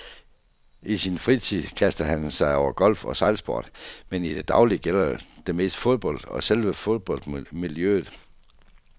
I sin fritid kaster han sig over golf og sejlsport, men i det daglige gælder det mest fodbold og selve fodboldmiljøet.